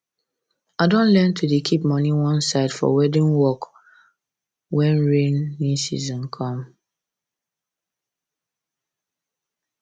i don learn to dey keep money one side for weeding work when rainy season come